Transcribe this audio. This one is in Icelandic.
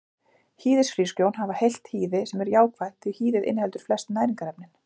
Hýðishrísgrjón hafa heilt hýði sem er jákvætt því hýðið inniheldur flest næringarefnin.